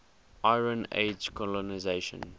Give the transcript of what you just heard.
iron age colonisation